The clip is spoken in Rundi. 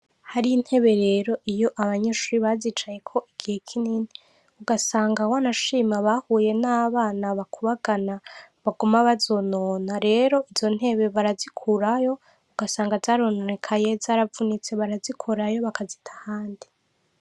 hari ntebe rero iyo abanyeshuri bazicayeko igihe kinini ugasanga wanashima bahuye n'abana bakubagana baguma bazonona rero izo ntebe barazikurayo ugasanga zarononekaye zaravunitse barazikurayo bakazitanga ahandi.